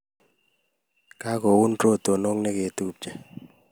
Kagoun rotonoik negetupche